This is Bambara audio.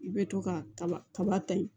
I bɛ to ka kaba kaba ta in